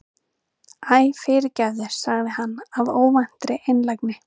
Æ, fyrirgefðu- sagði hann af óvæntri einlægni.